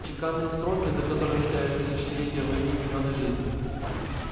чеканные строки за которыми стояли тысячелетия войны и миллионы жизней